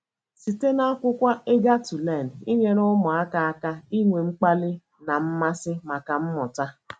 Site n'akwụkwọ Eager to Learn - Inyere ụmụaka aka inwe mkpali na mmasị maka mmụta